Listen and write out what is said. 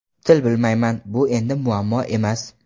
Til bilmayman Bu endi muammo emas.